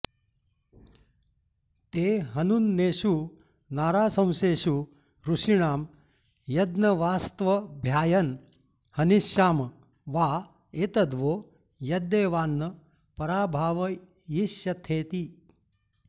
ते ह नुन्नेषु नाराशंसेषु ऋषीणां यज्ञवास्त्वभ्यायन् हनिष्याम वा एतद्वो यद्देवान्न पराभावयिष्यथेति